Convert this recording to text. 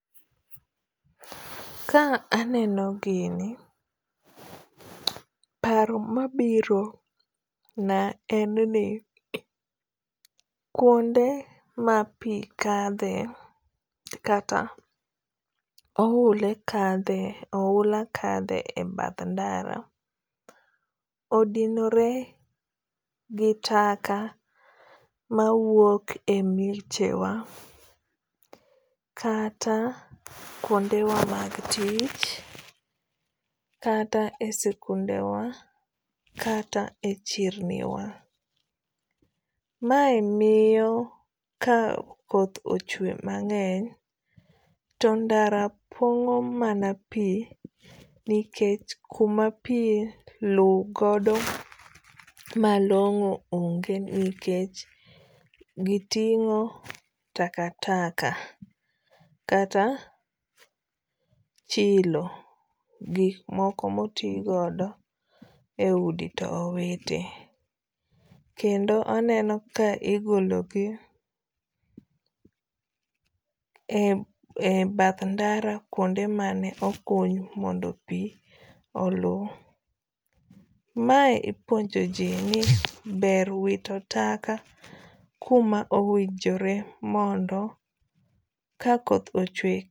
Ka aneno gini paro mabiro na en ni kuonde ma pi kadhe kata oula kadhe e bath ndara odinore gi taka ma wuok e mieche wa, kata kuonde wa mag tich, kata e sikunde wa, kata e chirni wa. Mae miyo ka koth ochwe mang'eny to ndara pong'o mana pi nikech kuma pi luw godo malong'o onge nikech giting'o takataka kata chilo. Gik moko ma oti godo e udi to owito. Kendo aneno ka igolo gi e bath ndara kuonde mane okuny mondo pi olu. Mae ipuonjo ji ni ber wito taka kuma owinjore mondo ka koth ochwe.